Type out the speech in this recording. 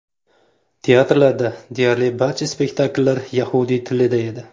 Teatrlarda deyarli barcha spektakllar yahudiy tilida edi.